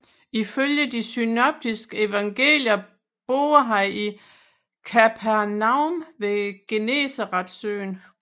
Ifølge de synoptiske evangelier boede han i Kapernaum ved Genesaretsøen